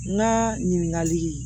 N ka ɲininkali